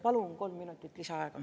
Palun kolm minutit lisaaega.